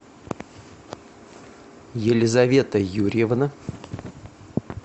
елизавета юрьевна